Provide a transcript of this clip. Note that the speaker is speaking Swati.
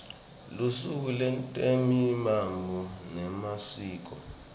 lusuku lwetemihambo nemasiko